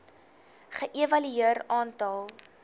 ge evalueer aantal